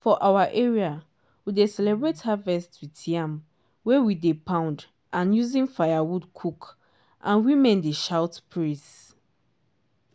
for our area we dey celebrate harvest with yam wey we dey poundand using firewood cook and women dey shout praise.